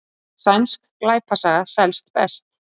Sænsk glæpasaga selst best